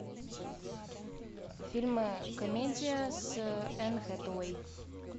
фильмы комедия с энн хэтэуэй